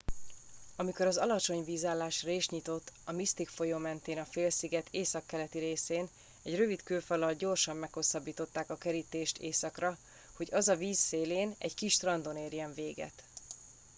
amikor az alacsony vízállás rést nyitott a mystic folyó mentén a félsziget északkeleti részén egy rövid kőfallal gyorsan meghosszabbították a kerítést északra hogy az a víz szélén egy kis strandon érjen véget